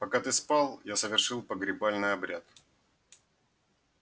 пока ты спал я совершил погребальный обряд